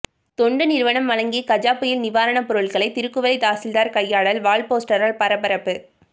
தொண்டு நிறுவனம் வழங்கிய கஜா புயல் நிவாரண பொருட்களை திருக்குவளை தாசில்தார் கையாடல் வால்போஸ்டரால் பரபரப்பு